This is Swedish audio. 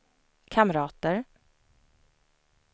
kamrater